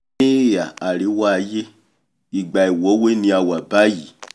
ní ìhà àríwá aiyé ìgbà ìwọ́wé ni a wà báyìí